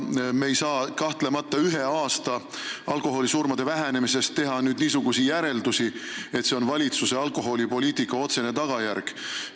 Me ei saa kahtlemata ühe aasta alkoholisurmade vähenemise põhjal teha niisugust järeldust, et see on valitsuse alkoholipoliitika otsene tulemus.